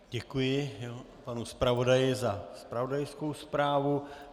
Děkuji panu zpravodaji za zpravodajskou zprávu.